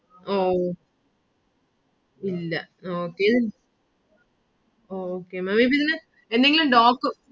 ഓ ഇല്ല okay~okay maám ഇപ്പൊ ഇതില് എന്തെങ്കിലും dop